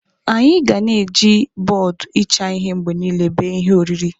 Anyị ga na-eji bọọdụ ịcha ihe mgbe niile bee ihe oriri.